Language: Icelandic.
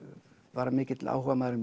var hann mikill áhugamaður um